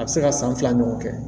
A bɛ se ka san fila ɲɔgɔn kɛ